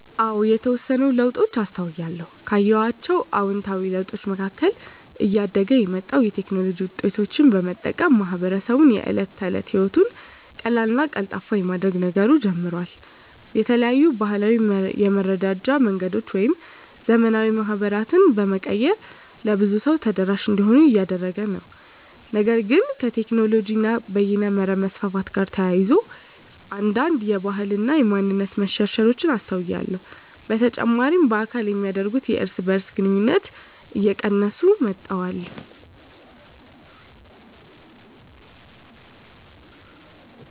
አዎ የተወሰኑ ለውጦችን አስተውያለሁ። ካየኋቸው አዉንታዊ ለውጦች መካከል እያደገ የመጣውን የቴክኖሎጂ ዉጤቶች በመጠቀም ማህበረሰቡ የእለት ተለት ህይወቱን ቀላልና ቀልጣፋ የማድረግ ነገሩ ጨምሯል። የተለያዩ ባህላዊ የመረዳጃ መንገዶችን ወደ ዘመናዊ ማህበራት በመቀየር ለብዙ ሰው ተደራሽ እንዲሆኑ እያደረገ ነው። ነገር ግን ከቴክኖሎጂ እና በይነመረብ መስፋፋት ጋር ተያይዞ አንዳንድ የባህል እና ማንነት መሸርሸሮች አስተውያለሁ። በተጨማሪ በአካል የሚደረጉ የእርስ በእርስ ግንኙነቶች እየቀነሱ መጥተዋል።